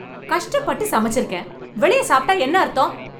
கஷ்டப்பட்டு சமைச்சிருக்கேன். வெளியே சாப்பிட்டா என்ன அர்த்தம்?